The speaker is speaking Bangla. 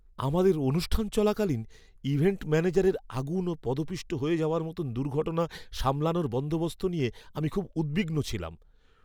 আমাদের অনুষ্ঠান চলাকালীন ইভেন্ট ম্যানেজারের আগুন ও পদপিষ্ট হয়ে যাওয়ার মতো দুর্ঘটনা সামলানোর বন্দোবস্ত নিয়ে আমি খুব উদ্বিগ্ন ছিলাম।